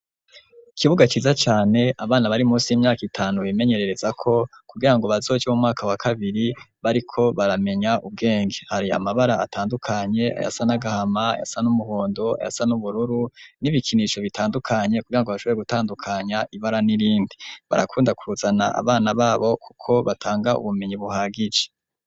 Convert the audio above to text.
Ikibuga ciza cane abana bari munsi y'imyaka itanu bimenyererezako kugirango bazoje mu mwaka wa kabiri bariko baramenya ubwenge hari amabara atandukanye, ayasa n'agahama, ayasa n'umuhondo, ayasa n'ubururu, n'ibikinisho bitandukanye, kugirango bashobore gutandukanya ibara n'irindi barakunda kuzana abana babo kuko batanga ubumenyi buhagije.